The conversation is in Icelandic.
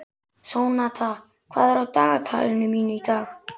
Sónata, hvað er á dagatalinu mínu í dag?